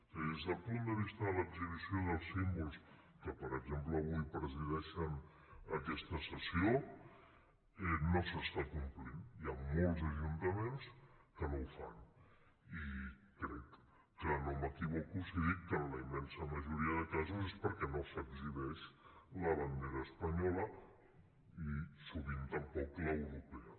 és a dir des del punt de vista de l’exhibició dels símbols que per exemple avui presideixen aquesta sessió no s’està complint hi ha molts ajuntaments que no ho fan i crec que no m’equivoco si dic que en la immensa majoria de casos és perquè no s’exhibeix la bandera espanyola i sovint tampoc la europea